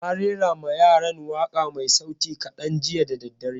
Eh, na rera ma yaran waƙa mai sauti kaɗan jiya da daddare